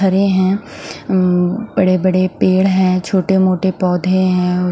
हरे है उम्म्म बड़े बड़े पेड़ है छोटे मोटे पोधे है।